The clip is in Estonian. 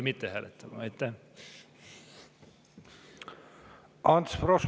Ants Frosch, palun!